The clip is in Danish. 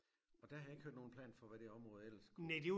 Og der har jeg ikke hørt nogen plan for hvad det område ellers skulle